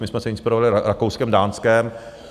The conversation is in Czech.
My jsme se inspirovali Rakouskem, Dánskem.